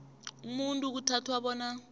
umuntu kuthathwa bona